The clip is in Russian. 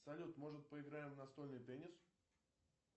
салют может поиграем в настольный теннис